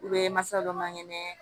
masa dɔ man kɛnɛ